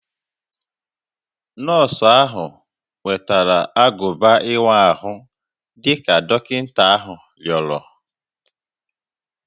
Nọọsụ ahụ wetara agụba ịwa ahụ dị ka dọkịta ahụ rịọrọ